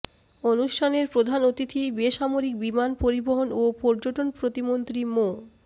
অনুষ্ঠানের প্রধান অতিথি বেসামরিক বিমান পরিবহন ও পর্যটন প্রতিমন্ত্রী মো